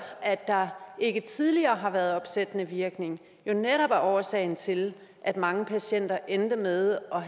at der ikke tidligere har været opsættende virkning jo netop er årsagen til at mange patienter endte med at